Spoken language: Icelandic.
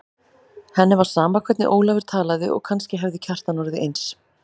Henni var sama hvernig Ólafur talaði og kannski hefði Kjartan orðið eins.